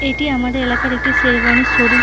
এটি আমাদের এলাকার একটি সেরওয়ানীর শোরুম ।